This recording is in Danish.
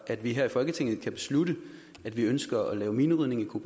at vi her i folketinget kan beslutte at vi ønsker at lave minerydning i